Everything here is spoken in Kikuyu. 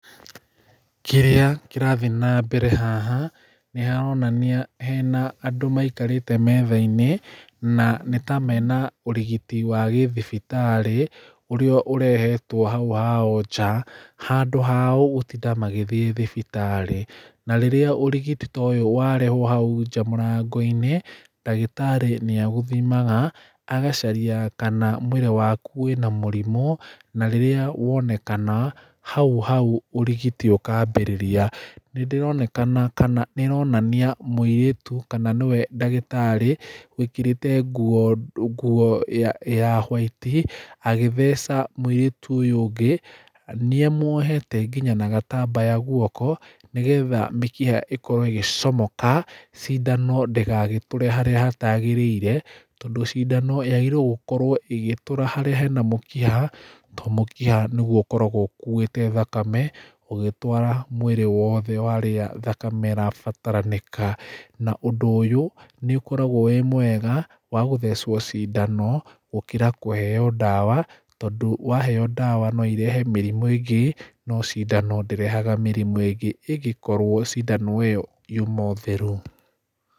Kĩrĩa kĩrathiĩ nambere haha nĩharonania hena andũ maikarĩte metha-inĩ na nĩta mena ũrigiti wa gĩthibitarĩ ũrĩa ũrehetwo haũ hao nja. Handũ ha gũtinda magĩthiĩ thibitarĩ. Na rĩrĩa ũrigiti ta ũyũ warehwo haũ nja mũrango-inĩ ndagĩtarĩ nĩaũthimaga, agacaria kana mwĩrĩ wakũ wĩna mũrimũ, na rĩrĩa wonekana, haũ haũ ũrigiti ũkaambĩrĩria. Nĩndĩronekana kana nĩĩronania mũirĩtũ, kana nĩwe ndagĩtarĩ, wĩkĩrĩte nguo ndũ nguo ya white , agĩtheca mũrĩtũ ũyũ ũngĩ. Nĩamũohete nginya na gatambaya gũoko, nĩgetha mĩkiha ĩkorwo ĩgĩcomoka, cindano ndĩgagĩtũre harĩa hatagĩrĩire, tondũ cindano yagĩrĩirũo gũkorwo ĩgĩtũra harĩa hĩna mũkiha, to mũkiha nĩgũo ũkoragwo ũkũĩte thakame, ũgĩtwara mwĩrĩ wothe harĩũ thakame ĩrabatarĩnĩka. Na ũndũ ũyũ nĩũkoragwo wĩ mwega, wa gũthecwo cindano gũkĩra kũheo ndawa, tondũ waheo ndawa noirehe mĩrimũ ĩngĩ, no cindano ndĩrehaga mĩrimũ ĩngĩ, ĩngĩkorwo cindano ĩyo yũma o therũ.